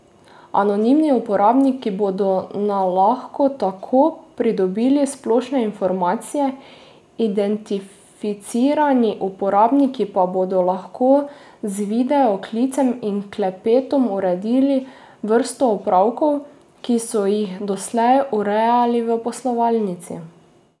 Anonimni uporabniki bodo na lahko tako pridobili splošne informacije, identificirani uporabniki pa bodo lahko z video klicem in klepetom uredili vrsto opravkov, ki so jih doslej urejali v poslovalnici.